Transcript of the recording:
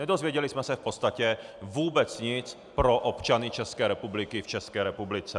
Nedozvěděli jsme se v podstatě vůbec nic pro občany České republiky v České republice.